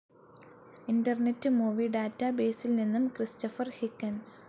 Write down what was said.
internet movie ഡാറ്റാബേസിൽ നിന്നും Christopher Higgins